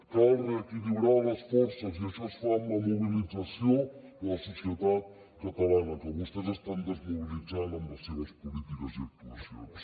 cal reequilibrar les forces i això es fa amb la mobilització de la societat catalana que vostès estan desmobilitzant amb les seves polítiques i actuacions